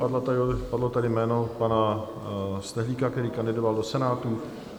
Padlo tady jméno pana Stehlíka, který kandidoval do Senátu.